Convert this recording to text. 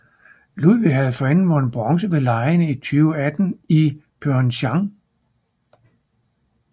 Ludwig havde forinden vundet bronze ved legene i 2018 i Pyeongchang